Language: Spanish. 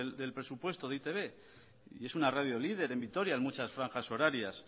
del presupuesto de e i te be y es una radio líder en vitoria en muchas franjas horarias